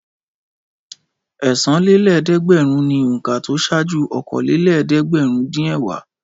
Ẹ̀sanlélẹ́ẹ̀dẹ́gbẹ̀rún ni òǹkà tó ṣáájú okòólélẹ́ẹ̀dẹ́gbẹ̀rúndínẹ̀wá.